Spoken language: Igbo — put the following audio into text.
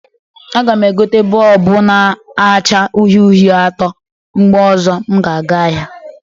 A ga m egote bọlbụ na-acha uhie uhie atọ mgbe ọzọ m ga-aga ahịa